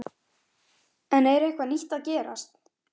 Ef stjórnarmenn eru ekki sammála má fá sérálit bókuð.